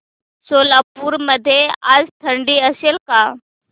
सोलापूर मध्ये आज थंडी असेल का